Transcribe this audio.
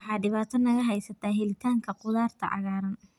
Waxa dhibaato naga haysata helitaanka khudaarta cagaaran.